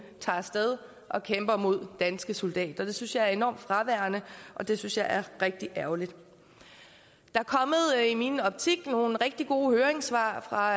tager af sted og kæmper mod danske soldater det synes jeg er enormt fraværende og det synes jeg er rigtig ærgerligt der er i min optik kommet nogle rigtig gode høringssvar fra